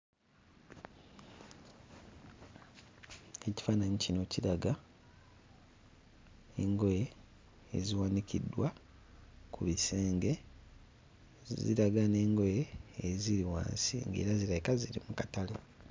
Ekifaananyi kino kiraga engoye eziwanikiddwa ku bisenge, zi ziraga n'engoye eziri wansi ng'era zirabika ziri mu katale.